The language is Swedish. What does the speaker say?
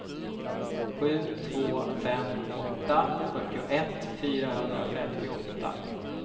sju två fem åtta fyrtioett fyrahundrafemtioåtta